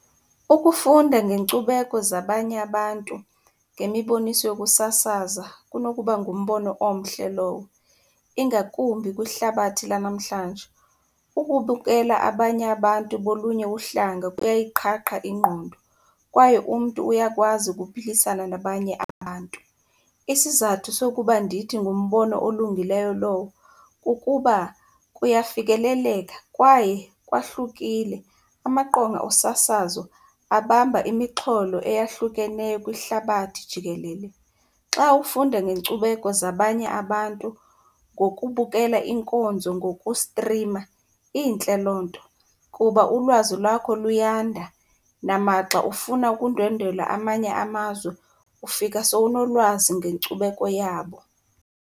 Ukufunda ngeenkcubeko zabanye abantu ngemiboniso yokusasaza kunokuba ngumbono omhle lowo ingakumbi kwihlabathi lanamhlanje. Ukubukela abanye abantu bolunye uhlanga kuyayiqhaqha ingqondo kwaye umntu uyakwazi ukuphilisana nabanye abantu. Isizathu sokuba ndithi ngumbono olungileyo lowo kukuba kuyafikeleleka kwaye kwahlukile. Amaqonga osasazo abamba imixholo eyahlukeneyo kwihlabathi jikelele. Xa ufunda ngeenkcubeko zabanye abantu ngokubukela iinkonzo ngokustrima, intle loo nto kuba ulwazi lwakho luyanda. Namaxa ufuna ukundwendwela amanye amazwe ufika sowunolwazi ngenkcubeko yabo.